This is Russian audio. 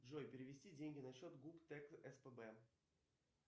джой перевести деньги на счет гуп тэк спб